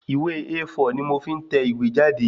Ìwé A4 ni mò fí ń tẹ ìwé jáde